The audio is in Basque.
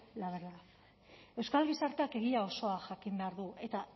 la verdad euskal gizarteak egia osoa jakin behar du eta